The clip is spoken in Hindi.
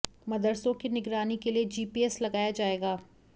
मदरसों की निगरानी के लिए जीपीएस लगाया जाएगा